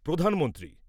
প্রধানমন্ত্রী